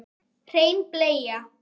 Hrein bleia